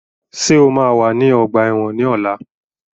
Ṣé o máa wà ní ọgbà ẹ̀wọ̀n ní ọ̀la?